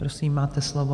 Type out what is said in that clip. Prosím, máte slovo.